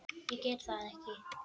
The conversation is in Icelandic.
Ég get það ekki